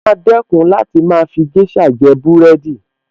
Mo maa dẹ́kun láti máa fi géṣà jẹ búrẹ́dì